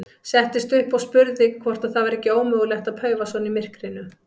Settist upp og spurði hvort það væri ekki ómögulegt að paufa svona í myrkrinu.